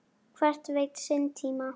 Hver veit sinn tíma?